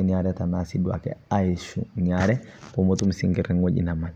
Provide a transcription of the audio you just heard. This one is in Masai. naitamanii